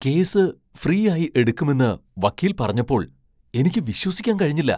Case ഫ്രീയായി എടുക്കുമെന്ന് വക്കീൽ പറഞ്ഞപ്പോൾ എനിക്ക് വിശ്വസിക്കാൻ കഴിഞ്ഞില്ല.